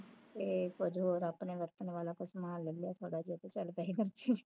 ਤੇ ਕੁਝ ਆਪਣੇ ਵਰਤਣ ਵਾਲਾ ਕੋਈ ਸਮਾਨ ਲੈ ਲਿਆ ਥੋੜਾ ਜਿਹਾ ਕੁਝ ਘੱਟ ਪੈਸੇ ਖਰਚੇ